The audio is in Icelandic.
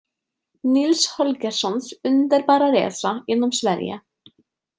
Nils Holgerssons underbara resa genom Sverige.